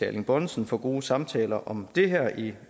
erling bonnesen for gode samtaler om det her i